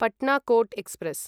Patna Kota express